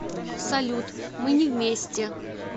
салют мы не вместе